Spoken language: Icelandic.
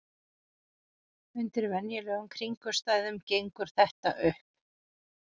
Undir venjulegum kringumstæðum gengur þetta upp.